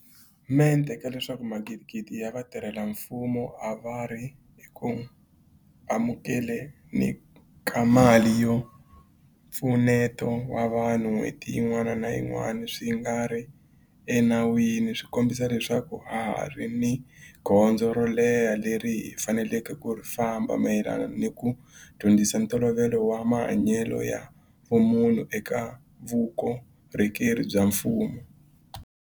Mente ka leswaku magidigidi ya vatirhela mfumo a va ri eku amukele ni ka mali ya mpfuneto wa vanhu n'hweti yin'wana ni yin'wana swi nga ri enawini swi kombisa leswaku ha ha ri ni gondzo ro leha leri hi faneleke ku ri famba mayelana ni ku dyondzisa ntolovelo wa mahanyelo ya vumunhu eka vukorhokeri bya mfumo.